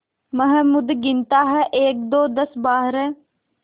महमूद गिनता है एकदो दसबारह